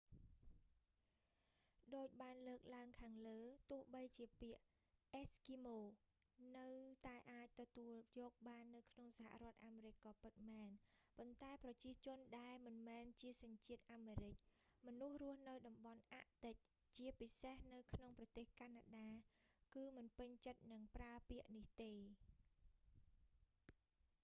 ដូចបានលើកឡើងខាងលើ ទោះបីជាពាក្យ eskimo អេស្គីម៉ូ នៅតែអាចទទួលយកបាននៅក្នុងសហរដ្ឋអាមេរិកក៏ពិតមែន ប៉ុន្តែប្រជាជនដែលមិនមែនជាសញ្ជាតិអាមេរិក មនុស្សរស់នៅតំបន់អាក់ទិក ជាពិសេសនៅក្នុងប្រទេសកាណាដា គឺមិនពេញចិត្តនឹងប្រើពាក្យនេះទេ